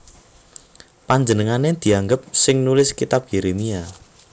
Panjenengané dianggep sing nulis Kitab Yérémia